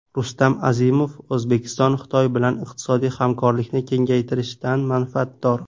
Rustam Azimov: O‘zbekiston Xitoy bilan iqtisodiy hamkorlikni kengaytirishdan manfaatdor.